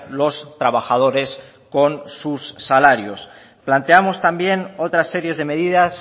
los trabajadores con sus salarios planteamos también otras series de medidas